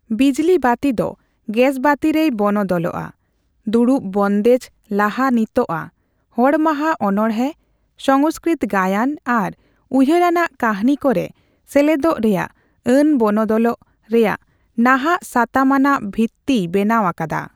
ᱵᱤᱡᱽᱞᱤ ᱵᱟᱹᱛᱤ ᱫᱚ ᱜᱮᱥᱵᱟᱹᱛᱤ ᱨᱮᱭ ᱵᱚᱱᱚᱫᱚᱞᱼᱟ ; ᱫᱩᱲᱩᱯ ᱵᱚᱱᱫᱮᱡᱽ ᱞᱟᱦᱟᱱᱤᱛᱚᱜᱼᱟ ; ᱦᱚᱲ ᱢᱟᱦᱟ ᱚᱱᱲᱦᱮᱸ, ᱥᱚᱝᱥᱠᱨᱤᱛ ᱜᱟᱭᱟᱱ ᱟᱨ ᱩᱭᱦᱟᱹᱨ ᱟᱱᱟᱜ ᱠᱟᱦᱱᱤ ᱠᱚᱨᱮ ᱥᱮᱞᱮᱫᱚᱜᱼᱨᱮᱭᱟᱜ ᱟᱹᱱ ᱵᱚᱱᱚᱫᱚᱞᱚᱜ ᱨᱮᱭᱟᱜ ᱱᱟᱦᱟᱜ ᱥᱟᱛᱟᱢ ᱟᱱᱟᱜ ᱵᱷᱤᱛᱛᱤᱭ ᱵᱮᱱᱟᱣ ᱟᱠᱟᱫᱟ ᱾